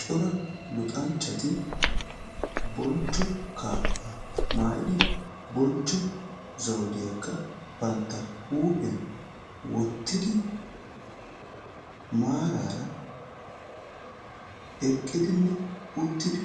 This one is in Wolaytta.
Cora luxxanchchati bonchcho kaabbaa maayidi bonchcho zawudiyakka banttaa huuphphiyan wottidi maaraara eqqidinne uttidi